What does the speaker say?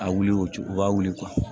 A wuli o cogo u b'a wuli